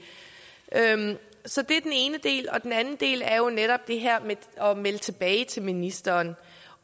så det er den ene del den anden del er jo netop det her med at melde tilbage til ministeren